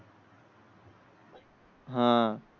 हां